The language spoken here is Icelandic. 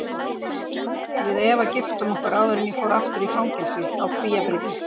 Við Eva giftum okkur áður en ég fór aftur í fangelsi, á Kvíabryggju.